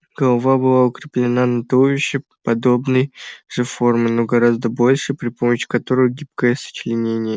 голова была укреплена на туловище подобной же формы но гораздо большем при помощи короткого гибкого сочленения